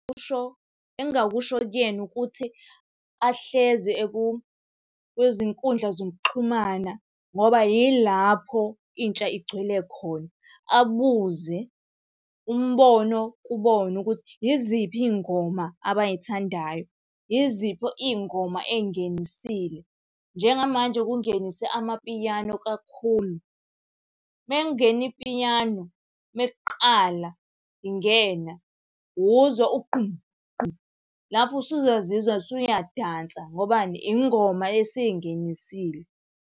Kusho, engingakusho kuyena ukuthi ahlezi eku kwizinkundla zokuxhumana ngoba yilapho intsha igcwele khona. Abuze umbono kubona ukuthi yiziphi iy'ngoma abay'thandayo, yiziphi iy'ngoma ey'ngenisile. Njengamanje bekungenise amapiyano kakhulu. Uma kungena ipiyano, uma kuqala ingena, uzwa ugqum gqum, lapho usuzozizwa usuyadansa ngobani ingoma esingenisile.